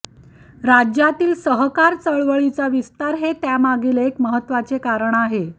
राज्यातील सहकार चळवळीचा विस्तार हे त्यामागील एक महत्त्वाचे कारण आहे